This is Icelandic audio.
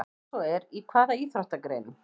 Ef svo er, í hvaða íþróttagreinum?